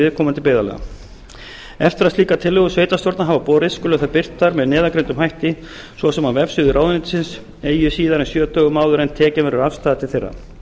viðkomandi byggðarlaga eftir að slíkar tillögur sveitarstjórna hafa borist skulu þær birtar með aðgengilegum hætti svo sem á vefsíðu ráðuneytisins eigi síðar en sjö dögum áður en tekin verður afstaða til þeirra